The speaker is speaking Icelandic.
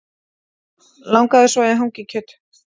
Langaði svo í hangikjöt